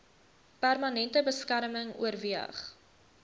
permanente beskerming oorweeg